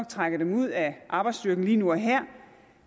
trækker dem ud af arbejdsstyrken lige nu og her